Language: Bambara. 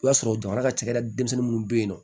O y'a sɔrɔ jamana ka cakɛda denmisɛnnin minnu bɛ yen nɔ